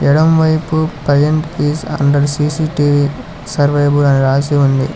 ఎడమపైపు paint was under C C T V surveyable అని రాసి ఉంది.